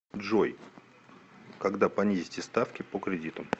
джой когда понизите ставки по кредитам